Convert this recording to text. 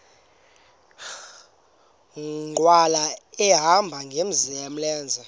nkqwala ehamba ngamlenze